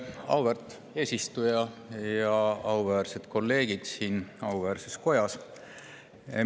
Auväärt eesistuja ja auväärsed kolleegid siin auväärses kojas!